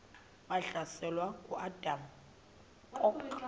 wahlaselwa nanguadam kok